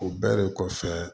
O bɛɛ de kɔfɛ